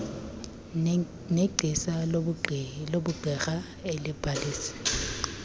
negcisa lobugqirha elibhalise